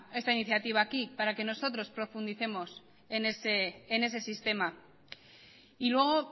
esta iniciativa aquí para que nosotros profundicemos en ese sistema y luego